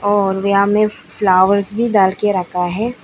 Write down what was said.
और यहां में फ्लावर्स भी डाल के रखा है।